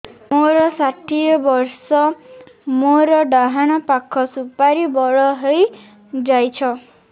ମୋର ଷାଠିଏ ବର୍ଷ ମୋର ଡାହାଣ ପାଖ ସୁପାରୀ ବଡ ହୈ ଯାଇଛ